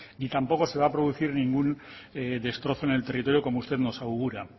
ni tampoco se va producir ningún destrozo en el territorio como usted nos augura